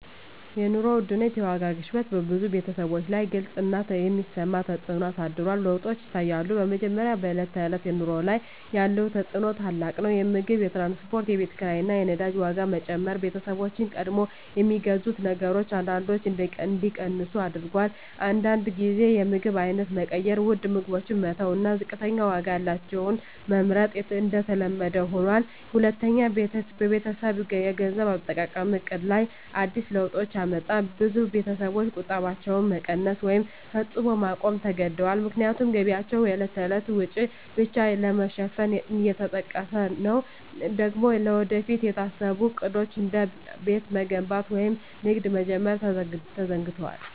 የኑሮ ውድነት (የዋጋ ግሽበት) በብዙ ቤተሰቦች ላይ ግልጽ እና የሚሰማ ተፅዕኖ አሳድሯል። ለውጦች ይታያሉ፦ በመጀመሪያ፣ በዕለት ተዕለት ኑሮ ላይ ያለው ተፅዕኖ ታላቅ ነው። የምግብ፣ የትራንስፖርት፣ የኪራይ ቤት እና የነዳጅ ዋጋ መጨመር ቤተሰቦችን ቀድሞ ከሚገዙት ነገሮች አንዳንዶቹን እንዲቀንሱ አድርጎአል። አንዳንድ ጊዜ የምግብ አይነት መቀየር (ውድ ምግቦችን መተው እና ዝቅተኛ ዋጋ ያላቸውን መመርጥ) የተለመደ ሆኗል። ሁለተኛ፣ በቤተሰብ የገንዘብ አጠቃቀም ዕቅድ ላይ አዲስ ለውጦች አመጣ። ብዙ ቤተሰቦች ቁጠባቸውን መቀነስ ወይም ፈጽሞ ማቆም ተገድደዋል፣ ምክንያቱም ገቢያቸው የዕለት ተዕለት ወጪን ብቻ ለመሸፈን እየተጠቀሰ ነው። ቀድሞ ለወደፊት የታሰቡ ዕቅዶች፣ እንደ ቤት መገንባት ወይም ንግድ መጀመር፣ ተዘግደዋል።